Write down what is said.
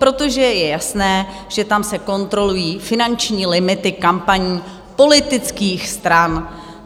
Protože je jasné, že tam se kontrolují finanční limity kampaní politických stran.